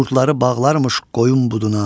qurdları bağlarmış qoyun buduna.